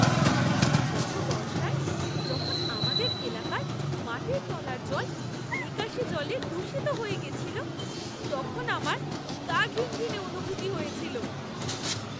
গত বর্ষায় যখন আমাদের এলাকার মাটির তলার জল নিকাশী জলে দূষিত হয়ে গেছিল তখন আমার গা ঘিনঘিনে অনুভূতি হয়েছিল।